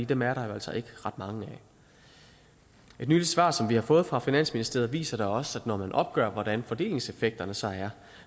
dem er der jo altså ikke ret mange af et nyligt svar som vi har fået fra finansministeriet viser da også at når man opgør hvordan fordelingseffekterne så er